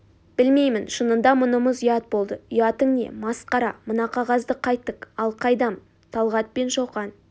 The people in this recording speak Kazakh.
білмеймін шынында мұнымыз ұят болды ұятың не масқара мына қағазды қайттік ал қайдам талғат пен шоқан